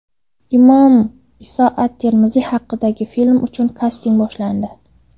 Imom Iso at-Termiziy haqidagi film uchun kasting boshlandi.